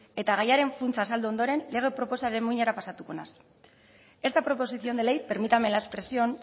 eta gaiaren funtsa azaldu ondoren lege proposamenaren muinara pasatuko naiz esta proposición de ley permítame la expresión